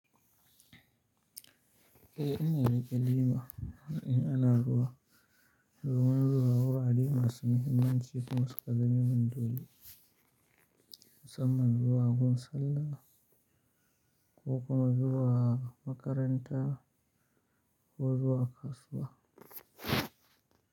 Eh ina rike lema, ina ana ruwa. Domin zuwa wurare masu muhimmanci ko suƙa zama min dole. Musamman zuwa Gurin sallah, ko kuma zuwa Makaranta ko zuwa Kasuwa.